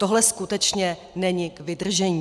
Tohle skutečně není k vydržení.